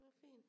Det var fint